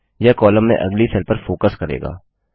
यह कॉलम में अगली सेल पर फोकस करेगा